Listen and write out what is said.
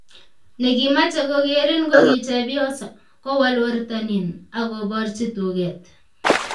Negimache kogerin kogichepyoso, kowol wertonin, agoborchi tuket